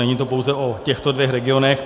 Není to pouze o těchto dvou regionech.